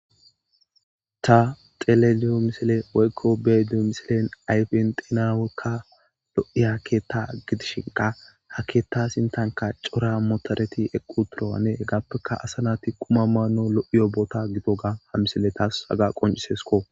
Ta teleliyo misile woykko be duo misilen ayfen dinawekka lo7i ha keetta gidishinqa ha keetta sintanka cora motoreti equ turowane hegappeka asanati kuma maano lo7i yobota gito ga ha misile taas haga qoncisesko.